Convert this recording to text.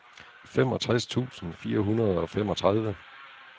femogtres tusind fire hundrede og femogtredive